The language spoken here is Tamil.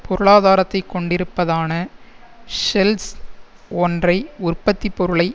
பொருளாதாரத்தை கொண்டிருப்பதான ஷெல்ஸ் ஒன்றை உற்பத்தி பொருளை